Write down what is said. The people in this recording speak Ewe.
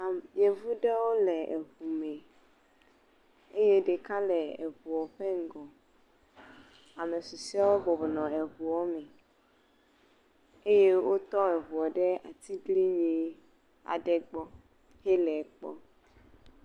Yevu ɖewo le eŋu me eye ɖeka le eŋu ƒe ŋgɔ, ame susuewo bɔbɔ nɔ eŋua me eye wotɔ eŋu ɖe atiglinyi aɖe gbɔ eye wole ekpɔm.